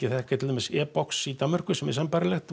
þekkja til dæmis e box í Danmörku sem er sambærilegt